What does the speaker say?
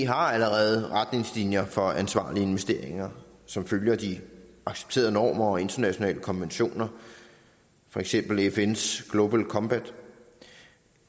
har allerede retningslinjer for ansvarlige investeringer som følger de accepterede normer og internationale konventioner for eksempel fns global compact